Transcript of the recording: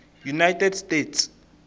united states